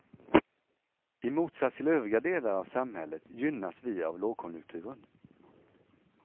I motsats till övriga delar av samhället gynnas vi av lågkonjunkturen.